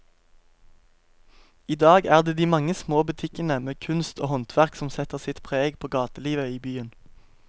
I dag er det de mange små butikkene med kunst og håndverk som setter sitt preg på gatelivet i byen.